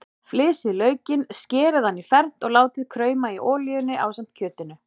Flysjið laukinn, skerið hann í fernt og látið krauma í olíunni ásamt kjötinu.